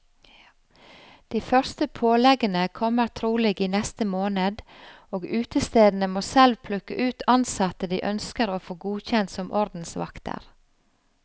De første påleggene kommer trolig i neste måned, og utestedene må selv plukke ut ansatte de ønsker å få godkjent som ordensvakter.